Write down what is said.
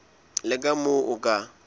le ka moo o ka